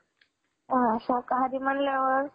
अ शाकाहारी म्हटल्यावर